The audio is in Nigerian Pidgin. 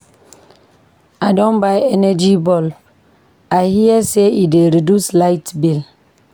I don buy energy bulb, I hear sey e dey reduce light bill.